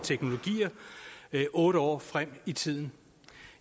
teknologier otte år frem i tiden